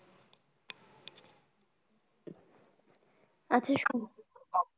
আচ্ছা শুন।।